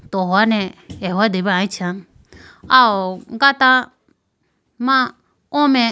Tohone ahodebu aluchi aw gata ma o mai.